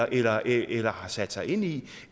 eller eller har sat sig ind i